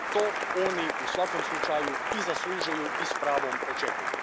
To oni u svakom slučaju i zaslužuju i s pravom očekuju.